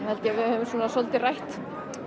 held ég að við höfum svolítið rætt